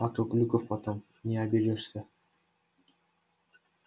а то глюков потом не оберёшься